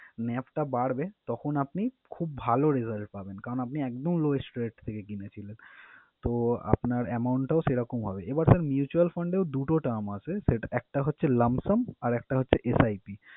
NAV টা বাড়বে তখন আপনি খুব ভালো result পাবেন। কারন আপনি একদম lowest rate থেকে কিনেছিলেন, তো আপনার amount টাও সেরকম হবে। এবার sir mutual fund এও দুটো term আছে। একটা হচ্ছে lump sum আর একটা হচ্ছে SIP ।